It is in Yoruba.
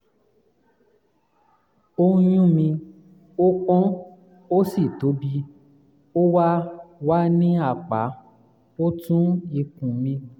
ó ń yún mí ó pọ́n ó sì tóbi ó wà wà ní apá ọ̀tún ikùn mi